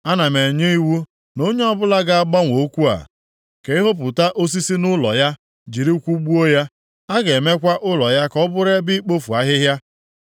Ana m enye iwu na onye ọbụla ga-agbanwe okwu a, ka ehopụta osisi nʼụlọ ya jiri kwụgbuo ya. A ga-emekwa ụlọ ya ka ọ bụrụ ebe ikpofu ahịhịa.